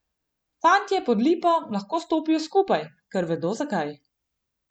Fantje pod lipo lahko stopijo skupaj, ker vedo, zakaj.